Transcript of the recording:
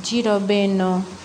Ji dɔ be yen nɔ